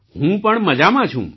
હું પણ મજામાં છું